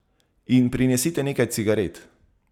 In prinesite nekaj cigaret.